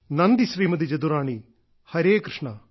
നന്ദി ശ്രീമതി ജദുറാണി ഹരേകൃഷ്ണ